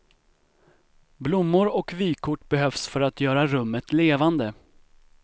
Blommor och vykort behövs för att göra rummet levande.